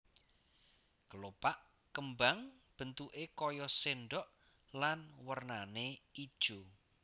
Kelopak kembang bentuké kaya sendok lan wernané ijo